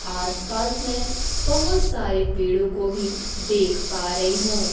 आस पास में बहोत सारे पेड़ों को भी देख पा रही हूं।